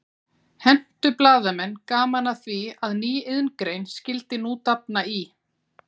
Hentu blaðamenn gaman að því að ný iðngrein skyldi nú dafna í